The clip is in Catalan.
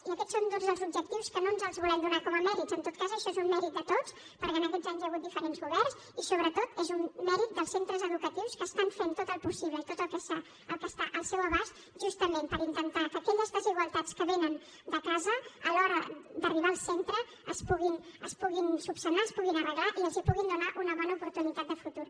i aquests són doncs els objectius que no ens els volem donar com a mèrits en tot cas això és un mèrit de tots perquè en aquests anys hi hagut diferents governs i sobretot és un mèrit dels centres educatius que estan fent tot el possible i tot el que està al seu abast justament per intentar que aquelles desigualtats que vénen de casa a l’hora d’arribar al centre es puguin solucionar es puguin arreglar i els puguin donar una bona oportunitat de futur